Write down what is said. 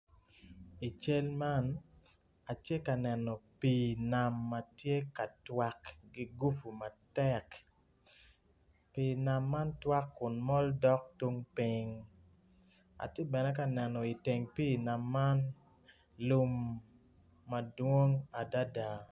I cal man atye ka neno pii nam ma tye ka twage matek pii man man mol twak kun mol dok tung piny atye bene ka neno bene iteng pii nam man lum madwong adada.